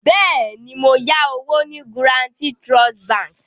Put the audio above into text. Bẹ́ẹ̀ni, mo yá owó ní Guaranty Trust bank